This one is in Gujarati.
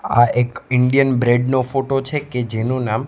આ એક ઇન્ડિયન બ્રેડ નો ફોટો છે કે જેનુ નામ--